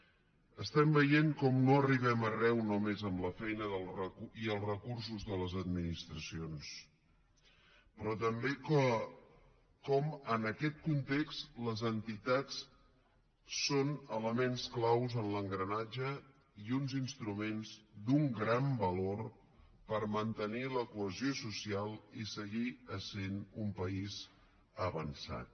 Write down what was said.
estem veient com no arribem arreu només amb la feina i els recursos de les administracions però també com en aquest context les entitats són elements clau en l’engranatge i uns instruments d’un gran valor per mantenir la cohesió social i seguir essent un país avançat